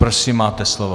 Prosím, máte slovo.